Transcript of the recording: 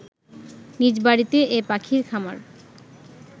নিজ বাড়িতে এ পাখির খামার